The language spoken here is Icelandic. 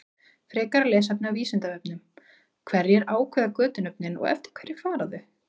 Frekara lesefni á Vísindavefnum: Hverjir ákveða götunöfnin og eftir hverju fara þau?